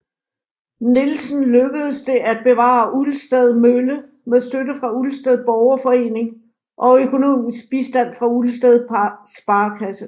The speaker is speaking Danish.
Nielsen lykkedes det at bevare Ulsted Mølle med støtte fra Ulsted Borgerforening og økonomisk bistand fra Ulsted Sparekasse